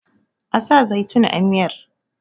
a sa zaitun a miyar!